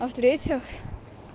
а в-третьих